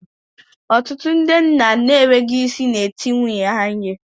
Ọtụtụ ndị nna n'enweghị isi na-eti nwunye ha ihe